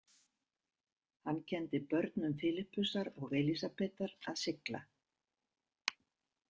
Hann kenndi börnum Filippusar og Elísabetar að sigla.